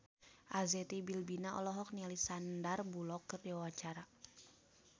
Arzetti Bilbina olohok ningali Sandar Bullock keur diwawancara